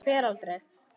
Ég fer aldrei.